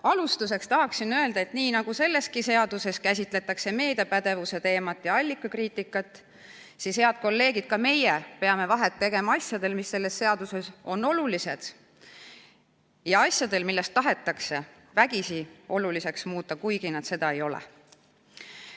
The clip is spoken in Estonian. Alustuseks tahan öelda, et nii nagu selles seaduseelnõus käsitletakse meediapädevuse teemat ja allikakriitikat, head kolleegid, peame ka meie vahet tegema asjadel, mis selles eelnõus on olulised, ja asjadel, mida tahetakse vägisi oluliseks muuta, kuigi nad seda ei ole.